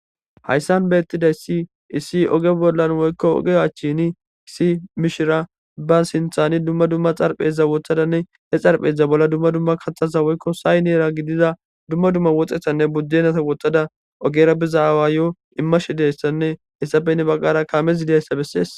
hayssan be ettiday si issi oge bollan woykko oge achchini issi mishira ba sinthani dumma dumma xarphezza wothadanne he xarpheza bolla dumma dumma kaxasa woykko say neera gidiza dumma dumma woxxehanne buddenata woxxada ogera bizaawa yo7o immashi deyssanne hessapenne baggara kaameidayssa bessees